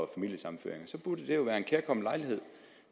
familiesammenføringer så burde det jo være en kærkommen lejlighed